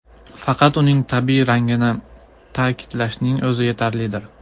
Faqat uning tabiiy rangini ta’kidlashning o‘zi yetarlidir.